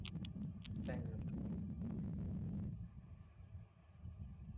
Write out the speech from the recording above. thank you